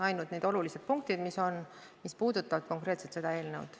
Ainult need olulised punktid, mis on, mis puudutavad konkreetselt seda eelnõu.